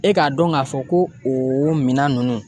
E k'a dɔn k'a fɔ ko o minan ninnu